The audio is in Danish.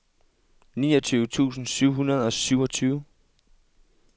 niogtyve tusind syv hundrede og syvogtyve